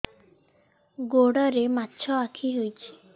ଗୋଡ଼ରେ ମାଛଆଖି ହୋଇଛି